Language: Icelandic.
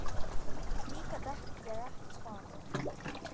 Því gat ég ekki svarað.